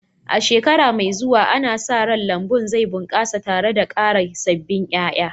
A shekara mai zuwa, ana sa ran lambun zai bunƙasa tare da ƙara sabbin ƴaƴa